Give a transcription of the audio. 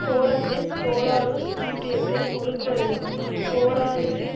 போலந்தின் போலாருஸ் ஒன்றியத்தை ஒடுக்குவதையும் போலாருசின்